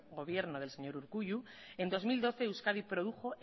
gobierno del señor urkullu en dos mil doce euskadi produjo